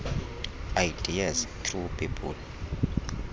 ideas through people